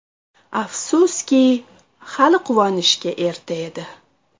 Afsuski, hali quvonishga erta edi.